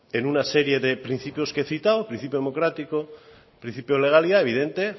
en una serie de principios que he citado principio democrático principio de legalidad evidente